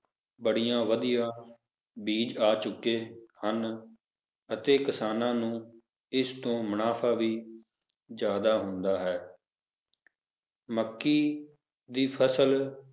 ਬੜੀਆਂ ਵਧੀਆ ਬੀਜ ਆ ਚੁੱਕੇ ਹਨ ਅਤੇ ਕਿਸਾਨਾਂ ਨੂੰ ਇਸ ਤੋਂ ਮੁਨਾਫ਼ਾ ਵੀ ਜ਼ਿਆਦਾ ਹੁੰਦਾ ਹੈ ਮੱਕੀ ਦੀ ਫਸਲ